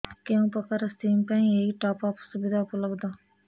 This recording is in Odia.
କେଉଁ ପ୍ରକାର ସିମ୍ ପାଇଁ ଏଇ ଟପ୍ଅପ୍ ସୁବିଧା ଉପଲବ୍ଧ